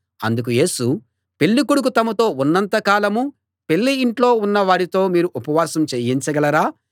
అందుకు యేసు పెళ్ళి కొడుకు తమతో ఉన్నంత కాలం పెళ్ళి ఇంట్లో ఉన్న వారితో మీరు ఉపవాసం చేయించగలరా